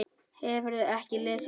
Hefurðu ekki lesið það!